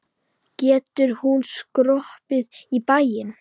Getur hún skroppið í bæinn?